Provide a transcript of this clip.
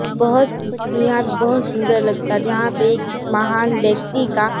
बोहोत यहाँ पे बोहोत सुंदर लगता है जहां पे एक माहान व्यक्ति का--